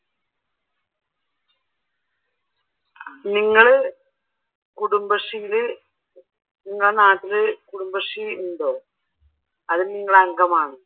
നിങ്ങള് കുടുംബശ്രീയിൽ നിങ്ങളുടെ നാട്ടിൽ കുടുംബശ്രീ ഉണ്ടോ അതിൽ നിങ്ങൾ അംഗം ആണോ?